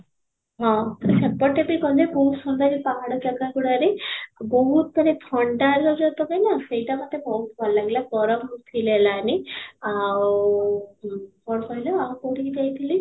ହଁ, ସେପଟେ ବି ଗଲେ ବହୁତ ସୁନ୍ଦର ଏଇ ପାହାଡ ଜାଗା ଗୁଡ଼ାରେ ବହୁତ ମାନେ ଥଣ୍ଡାରେ ଯଉ ତୋମେ ନା ସେଇଟା ମୋତେ ବହୁତ ଭଲ ଲାଗିଲା ଗରମ ବି feel ହେଲାନି ଆଉ ଓଁ କ'ଣ କହିଲ ଆଉ କୋଉଠି କି ଯାଇଥିଲି?